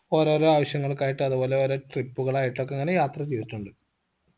ഓരോരോ ആവശ്യങ്ങൾക്കായിട്ട് അതുപോലെ ഓരോ trip കളായിട്ടൊക്കെ ഇങ്ങന യാത്ര ചെയ്തിട്ടുണ്ട്